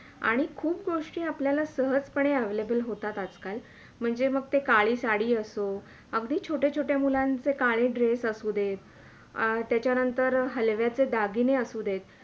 आणि खूप गोष्टी आपल्याला सहज पणे Available होतात आज - काल, म्हणजे ते म काळी साडी असो, अगदी छोटे -छोटे मुलांचे काळे Dress आसू दे त्याच्यानंतर हलव्याचे दागिने आसू दे